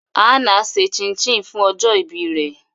Hannah ṣe chin chin fun ọjọ ibi rẹ